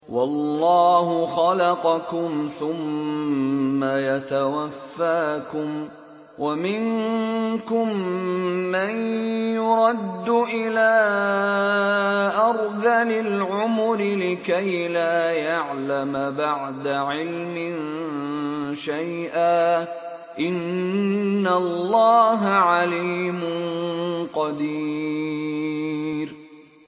وَاللَّهُ خَلَقَكُمْ ثُمَّ يَتَوَفَّاكُمْ ۚ وَمِنكُم مَّن يُرَدُّ إِلَىٰ أَرْذَلِ الْعُمُرِ لِكَيْ لَا يَعْلَمَ بَعْدَ عِلْمٍ شَيْئًا ۚ إِنَّ اللَّهَ عَلِيمٌ قَدِيرٌ